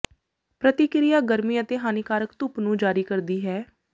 ਪ੍ਰਤੀਕ੍ਰਿਆ ਗਰਮੀ ਅਤੇ ਹਾਨੀਕਾਰਕ ਧੁੱਪ ਨੂੰ ਜਾਰੀ ਕਰਦੀ ਹੈ